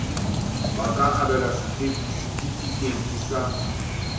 ba ka abelwa setefikeiti sa